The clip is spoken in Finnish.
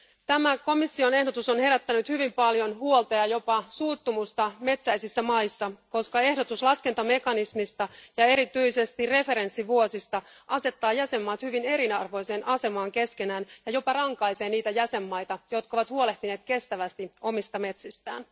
Tämä komission ehdotus on herättänyt hyvin paljon huolta ja jopa suuttumusta metsäisissä maissa, koska ehdotus laskentamekanismista ja erityisesti referenssivuosista asettaa jäsenmaat hyvin eriarvoiseen asemaan keskenään ja jopa rankaisee niitä jäsenmaita, jotka ovat huolehtineet kestävästi omista metsistään.